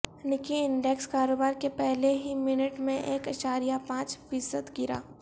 نکی index کاروبار کے پہلے ہی منٹ میں ایک اعشاریہ پانچ فیصدگرا